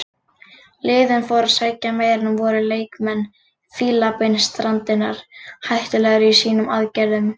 Liðin fóru að sækja meira en voru leikmenn Fílabeinsstrandarinnar hættulegri í sínum aðgerðum.